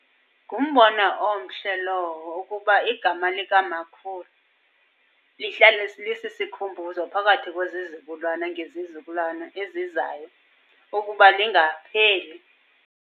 Ngumbono omhle lowo ukuba igama likamakhulu lihlale lisisikhumbuzo phakathi kwezizukulwana ngezizukulwana ezizayo, ukuba lingapheli.